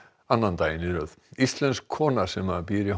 annan daginn í röð íslensk kona sem býr í